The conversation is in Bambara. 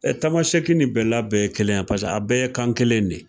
Ɛɛ Tamasɛki ni bɛla bɛɛ ye kelen ye. Paseke a bɛɛ ye kan kelen de ye.